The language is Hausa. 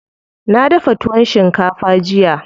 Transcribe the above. Na dafa tuwon shinkafa jiya.